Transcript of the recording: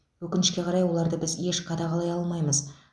өкінішке қарай оларды біз еш қадағалай алмаймыз